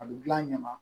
A bɛ gilan a ɲɛ ma